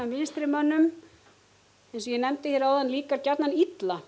vinstrimönnum líkar gjarnan illa